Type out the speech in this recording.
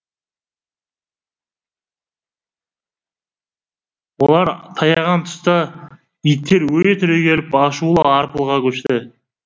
олар таяған тұста иттер өре түрегеліп ашулы арпылға көшті